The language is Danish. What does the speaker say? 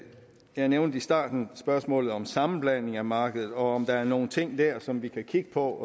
jeg nævnte i starten spørgsmålet om sammenblanding af markedet og om der er nogle ting der som vi kan kigge på